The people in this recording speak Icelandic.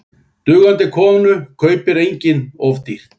Dugandi konu kaupir enginn of dýrt.